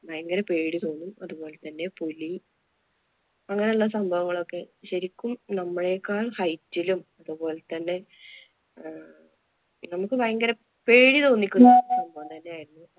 ഭയങ്കര പേടി തോന്നും. അതുപോലെ തന്നെ പുലി അങ്ങനെയുള്ള സംഭവങ്ങളൊക്കെ ശരിക്കും നമ്മളേക്കാള്‍ height ലും, അതുപോലെ തന്നെ അഹ് നമുക്ക് ഭയങ്കര പേടി തോന്നിക്കുന്ന സംഭവം തന്നെയായിരുന്നു.